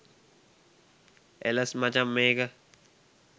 එලස් මචන් මේක